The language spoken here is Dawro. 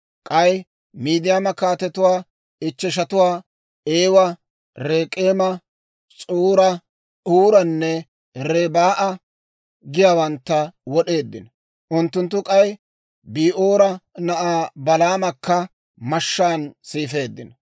K'ay Midiyaama kaatetuwaa ichcheshatuwaa, Eewa, Rek'eema, S'uura, Huuranne Rebaa'a giyaawantta wod'eeddino. Unttunttu k'ay Bi'oora na'aa Balaamakka mashshaan siifeeddino.